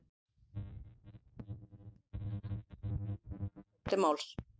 Toshizo Tanabe stóð nú upp og tók til máls.